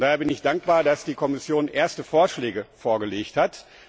Daher bin ich dankbar, dass die Kommission erste Vorschläge vorgelegt hat.